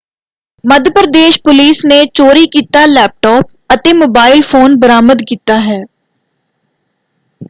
ਮੱਧ Pradesh police ਨੇ ਚੋਰੀ ਕੀਤਾ ਲੈਪਟਾਪ ਅਤੇ ਮੋਬਾਈਲ ਫ਼ੋਨ ਬਰਾਮਦ ਕੀਤਾ ਹੈ।